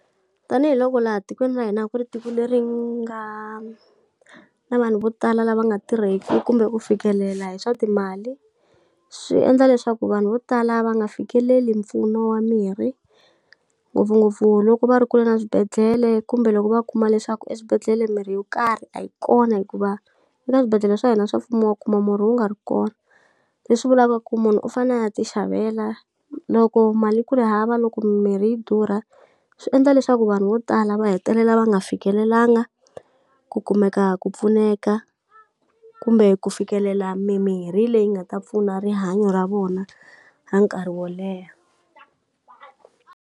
Tanihi loko laha tikweni ra hina a ku ri tiko leri nga na vanhu vo tala lava nga tirheki kumbe ku fikelela hi swa timali, swi endla leswaku vanhu vo tala va nga fikeleli mpfuno wa miri. Ngopfungopfu loko va ri kule na swibedhlele kumbe loko va kuma leswaku eswibedhlele mirhi yo karhi a yi kona hikuva, eka swibedhlele swa hina swa mfumo wa kuma murhi wu nga ri kona. Leswi vulaka ku munhu u fanele a ya ti xavela, loko mali yi ku ri hava loko mimirhi yi durha swi endla leswaku vanhu vo tala va hetelela va nga fikelelangi ku kumeka ku pfuneka, kumbe ku fikelela mimirhi leyi nga ta pfuna rihanyo ra vona ra nkarhi wo leha.